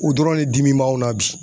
O dɔrɔn ne dimi b'anw na bi